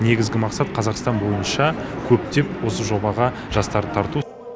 негізгі мақсат қазақстан бойынша көптеп осы жобаға жастарды тарту